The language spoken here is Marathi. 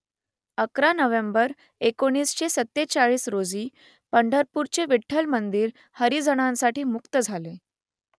अकरा नोव्हेंबर एकोणीसशे सत्तेचाळीस रोजी पंढरपूरचे विठ्ठल मंदिर हरिजनांसाठी मुक्त झाले